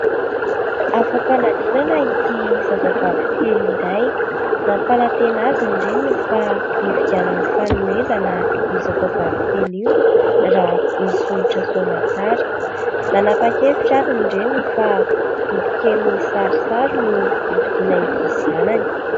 Afa-panadinana ity zazavavy kely iray. Nampanantena azy ny reniny fa hividianany fanomezana io zazavavy kely io raha nisondrotra soa aman-tsara. Nanapa-kevitra ary ny reniny fa boky kely misy sarisary no hovidiana ho an'ity zanany.